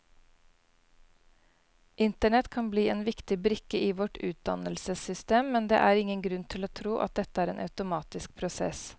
Internett kan bli en viktig brikke i vårt utdannelsessystem, men det er ingen grunn til å tro at dette er en automatisk prosess.